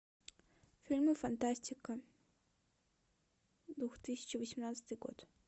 фильмы фантастика две тысячи восемнадцатый год